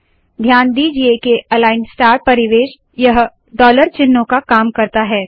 ध्यान दीजिए के अलाइन स्टार परिवेश यह डॉलर चिन्हों का काम करता है